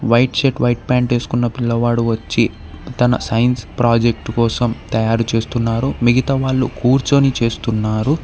White shirt white pant వేసుకున్న పిల్లవాడు వచ్చి తన సైన్స్ ప్రాజెక్ట్ కోసం తయారు చేస్తున్నారు మిగతా వాళ్ళు కూర్చొని చేస్తున్నారు.